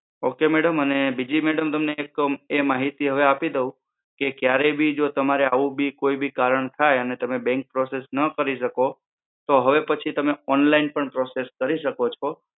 Okay madam? અને બીજી madam તમને એક માહિતી હવે આપી દઉં કે ક્યારેય બી જો તમારે આવુ બી કોઈ કારણ થાય અને તમે bank process ન કરી શકો તો હવે પછી થી તમે online પણ process કરી શકો છો.